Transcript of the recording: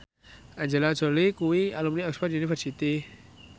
Angelina Jolie kuwi alumni Oxford university